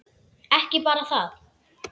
Ekki bara það.